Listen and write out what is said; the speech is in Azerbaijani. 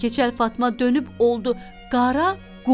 Keçəl Fatma dönüb oldu qara qul.